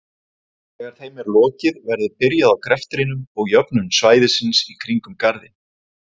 Þegar þeim er lokið verður byrjað á greftrinum og jöfnun svæðisins í kring um Garðinn.